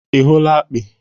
ị hụla akpị?